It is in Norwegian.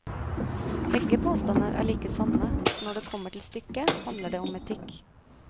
Begge påstander er like sanne, for når det kommer til stykket, handler det om etikk.